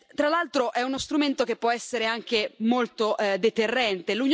Tra l'altro, è uno strumento che può essere anche molto deterrente.